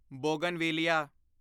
bougainvillea